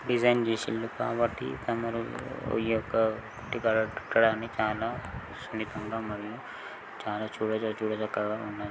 Design చేసిల్లు కాబట్టి తమరు ఈ యొక్క కట్టడం చాలా సున్నితంగా మరియు చాలా చూడజ చూడచక్కగా ఉన్నది.